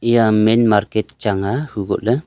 iya main market chang aa huko le.